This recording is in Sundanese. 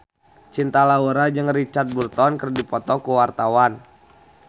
Cinta Laura jeung Richard Burton keur dipoto ku wartawan